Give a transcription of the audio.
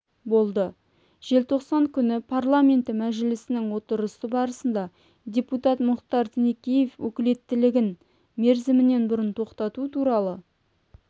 болды желтоқсан күні парламенті мәжілісінің отырысы барысында депутат мұхтар тінікеевтің өкілеттігін мерзімінен бұрын тоқтату туралы